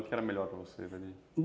O que era melhor para você?